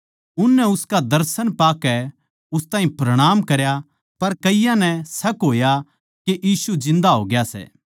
उननै उसका दर्शन पाकै उस ताहीं प्रणाम करया पर कईयाँ नै शक होया के यीशु जिन्दा होग्या सै